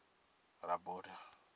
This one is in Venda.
rabota